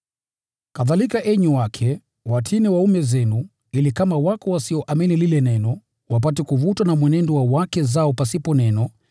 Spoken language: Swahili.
Kadhalika enyi wake, watiini waume zenu, ili kama kunao wasioamini lile neno, wapate kuvutwa na mwenendo wa wake zao pasipo neno,